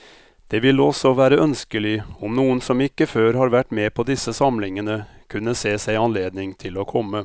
Det ville også være ønskelig om noen som ikke før har vært med på disse samlingene, kunne se seg anledning til å komme.